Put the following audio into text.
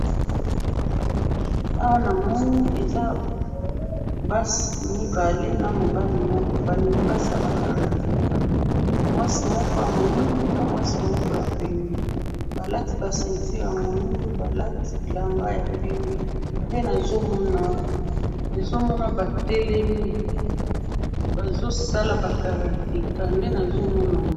awa na moni eza basi mibale na mobali moko balingi basala karateka mwasi moko ya moido na mwasi moko ya pembe ba lati ba ceinture ya moido balati bilamba ya pembe nde nazo monayo nazo mona ba telemi bazo sala ba karateka